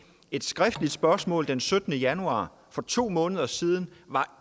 et skriftligt spørgsmål den syttende januar for to måneder siden var